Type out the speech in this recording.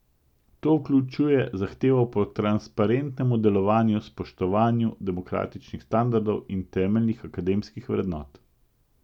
To vključuje zahtevo po transparentnem delovanju, spoštovanju demokratičnih standardov in temeljnih akademskih vrednot.